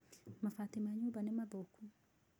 Mabati ma nyũmba nĩ mathũku.